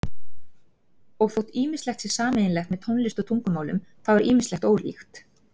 Og þótt ýmislegt sé sameiginlegt með tónlist og tungumálum þá er ýmislegt ólíkt.